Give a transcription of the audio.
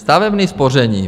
Stavební spoření.